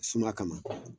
Suma kama